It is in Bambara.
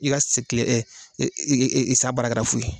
I ka se kile san baara kɛra fu ye.